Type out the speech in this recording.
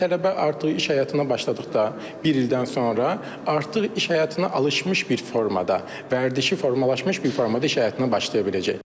Və tələbə artıq iş həyatına başladıqda, bir ildən sonra artıq iş həyatına alışmış bir formada, vərdişi formalaşmış bir formada iş həyatına başlaya biləcəkdir.